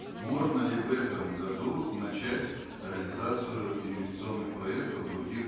можно ли в этом году начать реализацию инвестиционных проектов в других